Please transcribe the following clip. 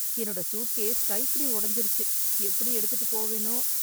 என்னோட சூட்கேஸ் கைப்பிடி ஓடஞ்சுருச்சு எப்பிடி எடுத்துட்டு போவேனோ